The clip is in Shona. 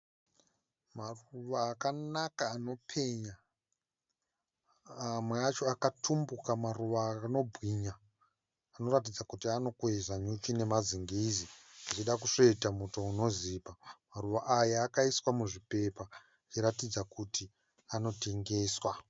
Maruva akanaka anopenya. Amwe acho akatumbuka maruva anombwinya anoratidza kuti anokwezva nyuchi nemazingizi zvichida kusveta muto unozipa. Maruva aya akaiswa muzvipepa achiratidza kuti anotengeswa